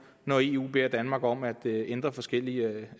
når eu beder danmark om at ændre forskellige